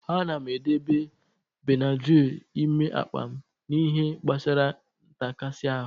Ana m edebe Benadrịl n'ime akpa m n'ihe gbasara ntakasi ahụ.